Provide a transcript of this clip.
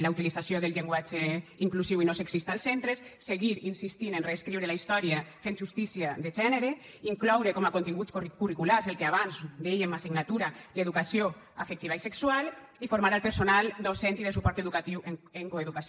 la utilització del llenguatge inclusiu i no sexista als centres seguir insistint en reescriure la història fent justícia de gènere incloure com a continguts curriculars el que abans en dèiem assignatura d’educació afectiva i sexual i formar el personal docent i de suport educatiu en coeducació